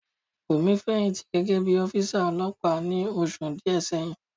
Bùnmi fẹ̀yìntì gẹ́gẹ́ bí ọ́físà ọlọ́pàá ní oṣù díẹ̀ sẹ́yìn